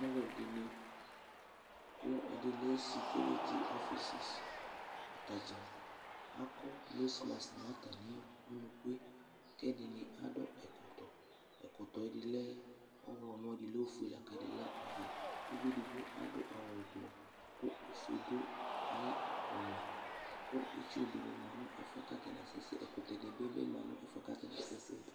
Alʋɛdɩnɩ kʋ ɛdɩ lɛ sekuiriti ɔfɩsɛs, ata dza akɔ nosmas nʋ atamɩ unuku yɛ kʋ ɛdɩnɩ adʋ ɛkɔtɔ, ɛkɔtɔ yɛ dɩ lɛ ɔɣlɔmɔ, ɛdɩ lɛ ofue la kʋ ɛdɩ lɛ ɔvɛ Uvi edigbo adʋ awʋ ʋblɔ kʋ ofue dʋ ayʋ ʋmɛ kʋ itsu dɩnɩ ma nʋ ɛfʋ yɛ kʋ atanɩ asɛsɛ, ɛkʋtɛnɩ bɩ ma nʋ ɛfʋ yɛ kʋ atanɩ asɛsɛ